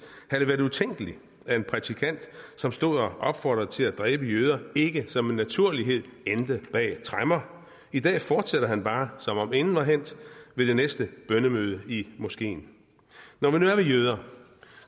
havde det været utænkeligt at en prædikant som stod og opfordrede folk til at dræbe jøder ikke som en naturlighed endte bag tremmer i dag fortsætter han bare som om intet var hændt ved det næste bønnemøde i moskeen når vi nu er ved jøder